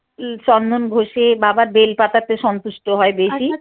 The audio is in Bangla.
ই চন্দন ঘয়ে বাবার বেল পাতাতে সন্তুষ্ট হয় বেশি